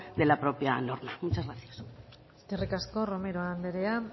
de la propia norma muchas gracias eskerrik asko romero anderea